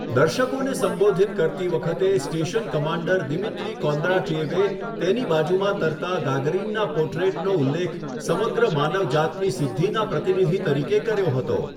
દર્શકોને સંબોધિત કરતી વખતે, સ્ટેશન કમાન્ડર દિમિત્રી કોન્દ્રાટ્યેવે તેની બાજુમાં તરતા ગાગરીનનાં પોટ્રેટનો ઉલ્લેખ 'સમગ્ર માનવજાત' ની સિદ્ધિના પ્રતિનિધિ તરીકે કર્યો હતો.